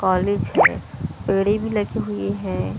College है पेड़ी भी लगी हुई है।